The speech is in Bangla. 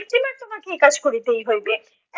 তোমাকে এই কাজ করিতেই হইবে